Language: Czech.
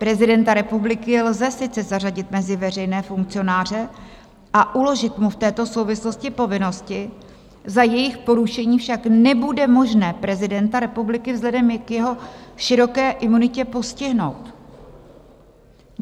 Prezidenta republiky lze sice zařadit mezi veřejné funkcionáře a uložit mu v této souvislosti povinnosti, za jejich porušení však nebude možné prezidenta republiky vzhledem k jeho široké imunitě postihnout.